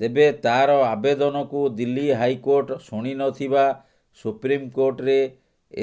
ତେବେ ତାର ଆବେଦନକୁ ଦିଲ୍ଲୀ ହାଇକୋର୍ଟ ଶୁଣିନଥିବା ସୁପ୍ରିମକୋର୍ଟରେ